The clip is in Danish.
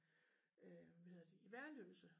Øh hvad hedder det i Værløse